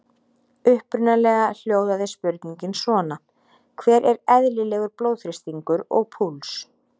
Upprunalega hljóðaði spurningin svona: Hver er eðlilegur blóðþrýstingur og púls?